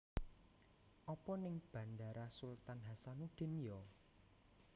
Opo ning Bandara Sultan Hassanudin yo?